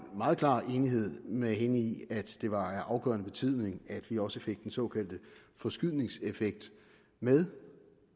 meget klar enighed med hende i at det var af afgørende betydning at vi også fik den såkaldte forskydningseffekt med